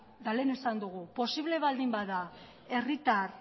eta lehen esan dugu posible baldin bada herritar